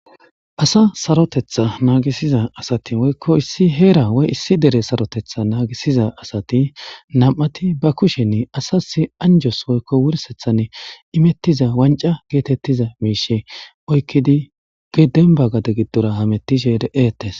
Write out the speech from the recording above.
asa sarotetha naagisiza asati woykko issi heera wey issi dere sarotetha naagisiza asati nam7ati ba kushenni asas anjos woykko wursethan imettiza wanca geetettiza miishe oykkidi ge denbagade giddora hamettishe deetes